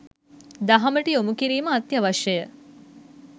දහමට යොමුකිරීම අත්‍යවශ්‍යය.